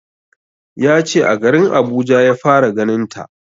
Ya ce a garin Abuja ya fara ganin ta